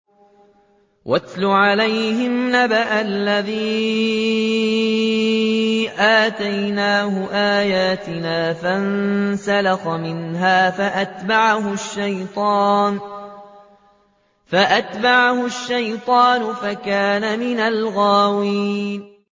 وَاتْلُ عَلَيْهِمْ نَبَأَ الَّذِي آتَيْنَاهُ آيَاتِنَا فَانسَلَخَ مِنْهَا فَأَتْبَعَهُ الشَّيْطَانُ فَكَانَ مِنَ الْغَاوِينَ